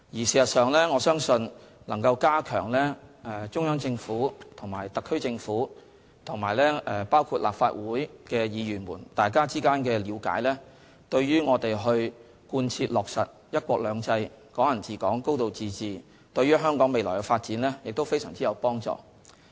事實上，我相信加強中央政府與特區政府及立法會議員之間的了解，對於我們貫徹落實"一國兩制"、"港人治港"、"高度自治"，以及香港未來的發展非常有幫助。